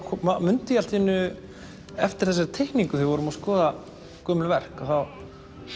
mundi ég allt í einu eftir þessari teikningu við vorum að skoða gömul verk þá